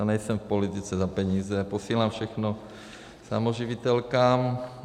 Já nejsem v politice za peníze, posílám všechno samoživitelkám.